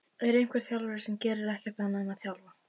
Er einhver þjálfari sem gerir ekkert annað en að þjálfa?